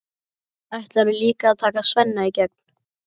Ætlarðu líka að taka Svenna í gegn?